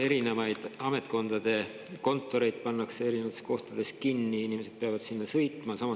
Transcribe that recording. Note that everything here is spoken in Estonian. Erinevaid ametkondade kontoreid pannakse eri kohtades kinni, inimesed peavad sinna sõitma.